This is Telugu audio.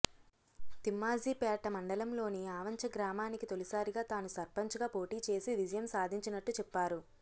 తిమ్మాజీపేట మండలంలోని ఆవంచ గ్రామానికి తొలిసారిగా తాను సర్పంచ్గా పోటీ చేసి విజయం సాధించినట్టు చెప్పారు